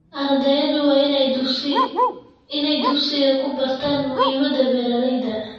Ardaydu waa inay dugsiga ku bartaan muhiimada beeralayda.